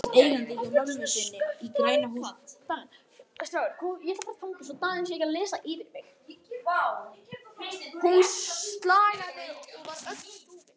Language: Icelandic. Hún slagaði og var öll úfin.